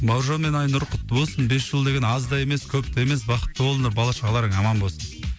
бауыржан мен айнұр құтты болсын бес жыл деген аз да емес көп те емес бақытты болыңдар бала шағаларың аман болсын